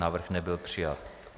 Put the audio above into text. Návrh nebyl přijat.